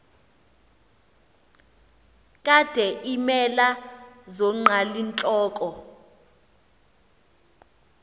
kade iimela zonqalintloko